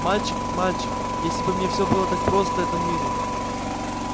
мальчик мальчик если бы все было так просто в этом мире